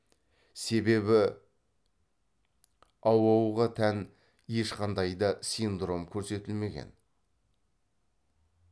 себебі ауоуға тән ешқандай да синдром көрсетілмеген